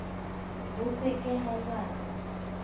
ho se ke ha lwanwa